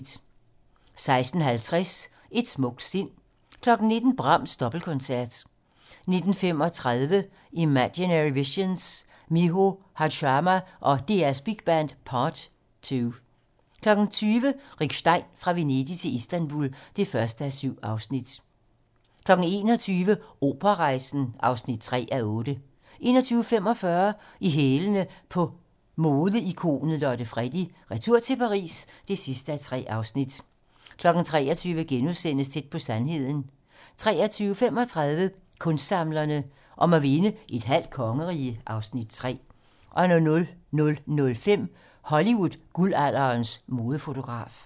16:50: Et smukt sind 19:00: Brahms Dobbeltkoncert 19:35: Imaginary Visions - Miho Hazama og DR Big Band - part 2 20:00: Rick Stein: Fra Venedig til Istanbul (1:7) 21:00: Operarejsen (3:8) 21:45: I hælene på modeikonet Lotte Freddie: Retur til Paris (3:3) 23:00: Tæt på sandheden * 23:35: Kunstsamlerne: Om at vinde "et halvt kongerige" (Afs. 3) 00:05: Hollywood-guldalderens modefotograf